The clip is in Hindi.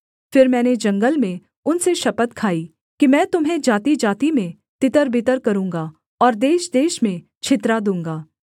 फिर मैंने जंगल में उनसे शपथ खाई कि मैं तुम्हें जातिजाति में तितरबितर करूँगा और देशदेश में छितरा दूँगा